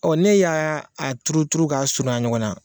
Ɔ ne y'a turu turu ka suruɲa ɲɔgɔn na.